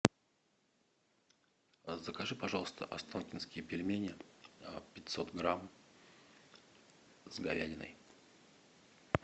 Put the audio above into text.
закажи пожалуйста останкинские пельмени пятьсот грамм с говядиной